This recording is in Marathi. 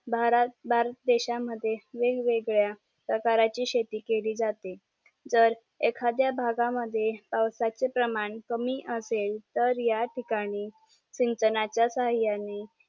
भारत बन देश मध्ये वेगवेगळ्या प्रकारची शेती केली जाते जर एखाद्या भाग मद्ये पावसाचे प्रमाण कमी असेल तर या ठिकाणी सिंचनाचा साह्याने